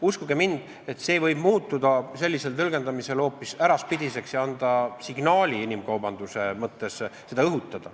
Uskuge mind, see võib muutuda sellise tõlgendamise korral hoopis äraspidiseks ja anda signaali inimkaubanduse õhutamise mõttes.